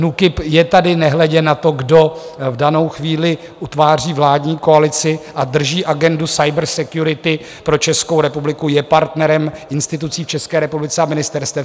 NÚKIB je tady nehledě na to, kdo v danou chvíli utváří vládní koalici a drží agendu cybersecurity pro Českou republiku, je partnerem institucí v České republice a ministerstev.